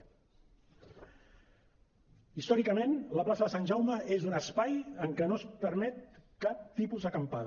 històricament la plaça de sant jaume és un espai en què no es permet cap tipus d’acampada